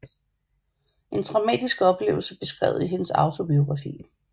En traumatisk oplevelse beskrevet i hendes autobiografi